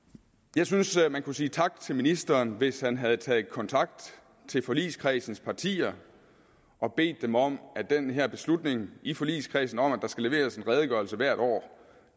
jeg synes at man kunne sige tak til ministeren hvis han havde taget kontakt til forligskredsens partier og bedt dem om at den her beslutning i forligskredsen om at der skal leveres en redegørelse hvert år